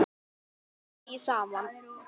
Við gátum hlegið saman.